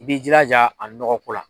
I b'i jiraja a nɔgɔko la